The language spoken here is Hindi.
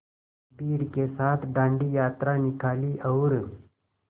भीड़ के साथ डांडी यात्रा निकाली और